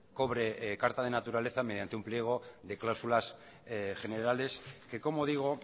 cobre carta de naturaleza mediante un pliego de cláusulas generales que como digo